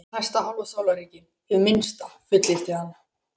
Næsta hálfa sólarhringinn, hið minnsta, fullyrti hann.